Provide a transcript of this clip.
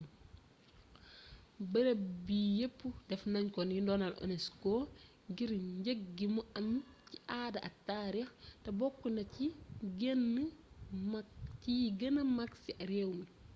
beereeb bi yeepp defnagnuko ni ndonol unesco ngir njeeg gimu am ci aada ak taarix té bokkna ci yi geenee mak ci réwmi